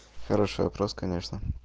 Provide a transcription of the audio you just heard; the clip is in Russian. хороший вопрос конечно